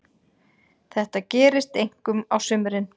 Þetta gerist einkum á sumrin.